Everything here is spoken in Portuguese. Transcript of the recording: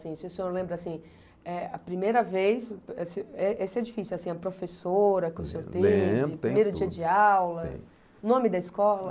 Se o senhor lembra, assim, eh, a primeira vez, esse é difícil, a professora que o senhor teve, primeiro dia de aula, nome da escola.